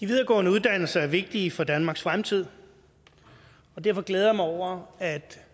videregående uddannelser er vigtige for danmarks fremtid og derfor glæder jeg mig over at